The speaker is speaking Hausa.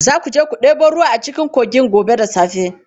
Za ku je ku ɗebo ruwa a cikin kogin gobe da safe.